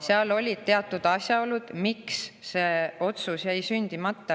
Seal olid teatud asjaolud, miks see otsus jäi sündimata.